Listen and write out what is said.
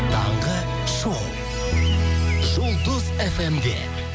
таңғы шоу жұлдыз фм де